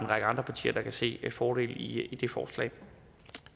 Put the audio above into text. række andre partier kan se fordele i det forslag